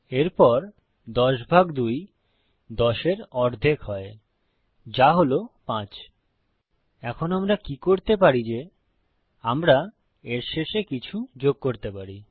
এরপর ১০ ভাগ ২ ১০ এর অর্ধেক হয় যা হল ৫ এখন আমরা কি করতে পারি যে আমরা এর শেষে কিছু যোগ করতে পারি